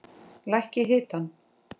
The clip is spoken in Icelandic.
Lækkið hitann.